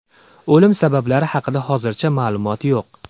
O‘lim sabablari haqida hozircha ma’lumot yo‘q.